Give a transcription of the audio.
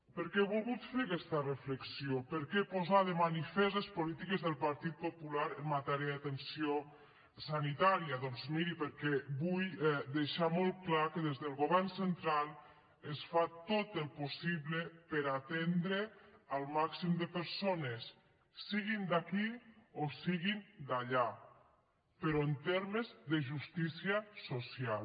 per què he volgut fer aquesta reflexió per què posar de manifest les polítiques del partit popular en matèria d’atenció sanitària doncs miri perquè vull deixar molt clar que des del govern central es fa tot el possible per atendre el màxim de persones siguin d’aquí o siguin d’allà però en termes de justícia social